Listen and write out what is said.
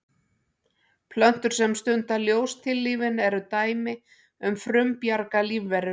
plöntur sem stunda ljóstillífun eru dæmi um frumbjarga lífverur